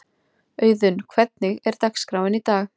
Auðun, hvernig er dagskráin í dag?